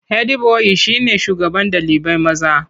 Hedi boyi shine shugaban ɗalibai maza.